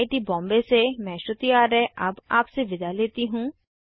I I T Bombay से मैं श्रुति आर्य अब आपसे विदा लेती हूँ